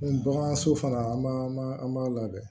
N bagan so fana an b'a an b'a labɛn